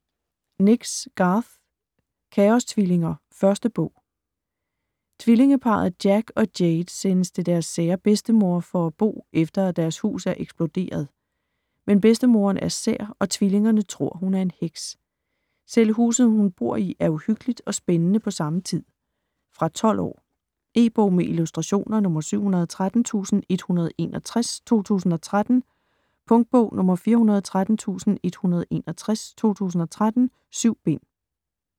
Nix, Garth: Kaostvillinger: 1. bog Tvillingeparret Jack og Jaide sendes til deres sære bedstemor for at bo, efter at deres hus er eksploderet. Men bedstemoderen er sær, og tvillingerne tror, at hun er en heks. Selv huset, hun bor i, er uhyggeligt og spændende på samme tid. Fra 12 år. E-bog med illustrationer 713161 2013. Punktbog 413161 2013. 7 bind.